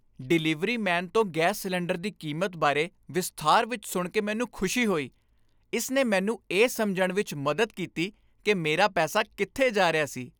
Delivery man ਤੋਂ gas cylinder ਦੀ ਕੀਮਤ ਬਾਰੇ ਵਿਸਥਾਰ ਵਿੱਚ ਸੁਣ ਕੇ ਮੈਨੂੰ ਖੁਸ਼ੀ ਹੋਈ। ਇਸ ਨੇ ਮੈਨੂੰ ਇਹ ਸਮਝਣ ਵਿੱਚ ਮਦਦ ਕੀਤੀ ਕਿ ਮੇਰਾ ਪੈਸਾ ਕਿੱਥੇ ਜਾ ਰਿਹਾ ਸੀ।